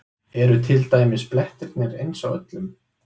Eru til dæmis blettirnir eins á öllum?